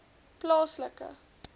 plaaslike